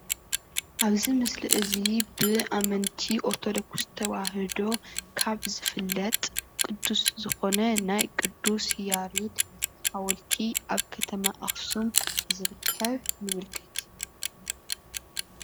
አብዚ ምስሊ እዚ ብአመንቲ ኦርቶዶክስ ተዋህዶ ካብ ዝፍለጥ ቅዱስ ዝኮነ ናይ ቅዱስ ያሬድ ሓወልቲ አብ ከተማ አክሱም ዝርከብ ይምልከት፡፡